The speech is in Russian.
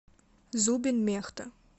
зубин мехта